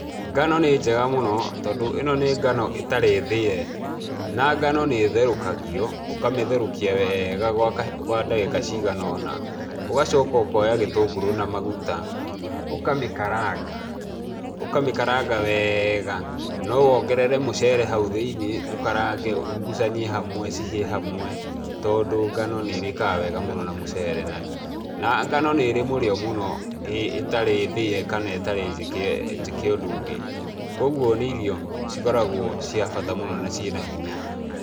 Ngano nĩ njega mũno tondũ ĩno nĩ ngano ĩtarĩ thĩe, na ngano nĩ ĩtherũkagio, ũkamĩtherũkia weega gwa kahi gwa ndagĩka ciganaona. Ũgacoka ũkoya gĩtũngũrũ na maguta, ũkamĩkaranga ũkamĩkaranga weega no wongerere mũcere hau thĩinie, ũkarange urugucanie hamwe cihĩe hamwe, tondũ ngano nĩrĩkaga wega mũno na mũcere na, na ngano nĩ ĩrĩ mũrĩo mũno ĩtarĩ thĩe kana ĩtarĩ njĩke njĩke ũndũ ũngĩ. Kuoguo nĩ irio cikoragwo cia bata mũno na ciĩna hinya.